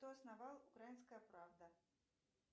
кто основал украинская правда